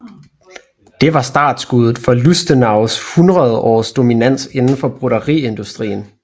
Det var startskuddet for Lustenaus 100 års dominans indenfor broderiindustrien